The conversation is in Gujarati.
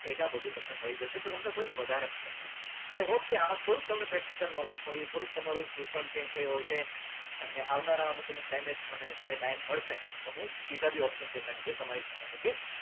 data તમને બધું મળી જશે તો તમને થોડીક વધારે મદદ મળશે તો i hope કે આમાં થોડુક તમને practicalknowledge મળ્યું થોડુક તમારું view પણ change થયું હશે અને આવનારા અમુક અમુક time એ મને જ્યારે time મળશે તો હું બીજા બી option chain ના video તમારી સામે મળશે